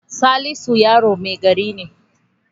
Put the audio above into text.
Salisu yaron mai gari ne.